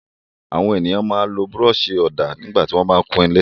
Àwọn ènìyàn máa ń lo búrọ́ṣì-ọ̀dà nígbà tí wọ́n bá ń kun ilé.